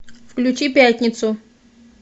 включи пятницу